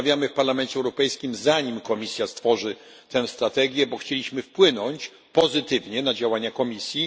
Rozmawiamy w Parlamencie Europejskim, zanim Komisja stworzy tę strategię, gdyż chcieliśmy wpłynąć pozytywnie na działania Komisji.